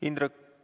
Indrek ...